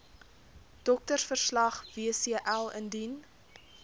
doktersverslag wcl indien